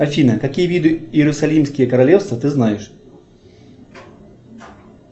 афина какие виды иерусалимские королевства ты знаешь